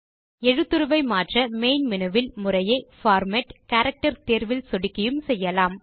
எழுத்துருவை மாற்ற main menu வில் முறையே பார்மேட் கேரக்டர் தேர்வில் சொடுக்கியும் செய்யலாம்